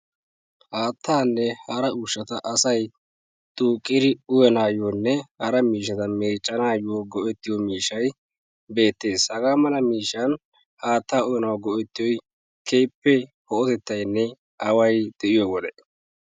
Haattanne hara ushshata asay duuqidi uyyanawunne hara miishshata meeccanawu go'ettiyo miishshay beettees. ha mala miishshan haatta uyyanaw go''etiyoy keehippe away de'iyo wode.